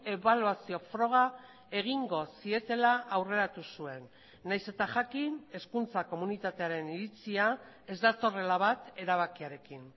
ebaluazio froga egingo zietela aurreratu zuen nahiz eta jakin hezkuntza komunitatearen iritzia ez datorrela bat erabakiarekin